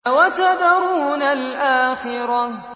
وَتَذَرُونَ الْآخِرَةَ